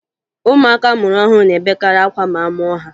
Ụmụaka a mụrụ ọhụrụ na-ebekarị akwa ma a mụọ ha